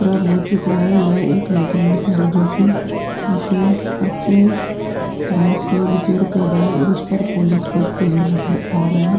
हो चूका है। यह एक मैकेनिक है जो कि इसे अच्छे ढंग से रिपेयर कर रहा है और उस पर पोलिश करते हुऐ नज़र आ रहा है।